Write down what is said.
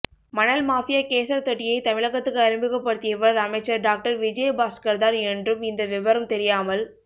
மணல் மாபியா கேசர் தெட்டியை தமிழகத்துக்கு அறிமுகப்படுத்தியவர் அமைச்சர் டாக்டர் விஜய பாஸ்கர்தான் என்றும் இந்த விபரம் தெரியாமல்